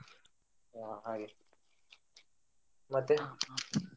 ಹಾ ಹಾಗೆ ಮತ್ತೆ? .